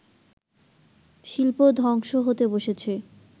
শিল্প ধ্বংস হতে বসেছে